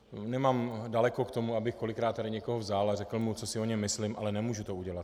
Nemám daleko k tomu, abych kolikrát tady někoho vzal a řekl mu, co si o něm myslím, ale nemůžu to udělat.